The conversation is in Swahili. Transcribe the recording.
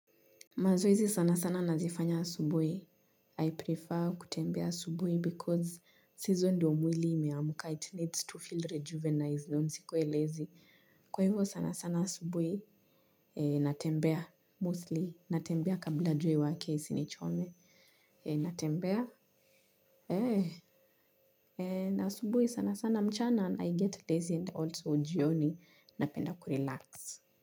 Mazoezi sana sana nazifanya asubuhi. I prefer kutembea asubuhi because saizo ndio mwili imeamka it needs to feel rejuvenized ndio nisikuwe lazy. Kwa hivyo sana sana asubuhi natembea. Mostly natembea kabla jua iwake isinichome. Natembea. Eh. Na asubuhi sana sana mchana and I get lazy and also jioni. Napenda kurelax.